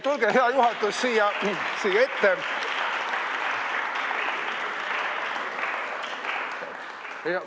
Tulge, hea juhatus, siis siia ette!